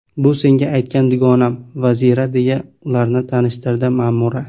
Bu senga aytgan dugonam Vazira, deya ularni tanishtirdi Ma’mura.